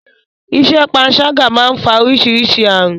Iṣẹ́ panṣágà má ń fa orísirísi ààrùn.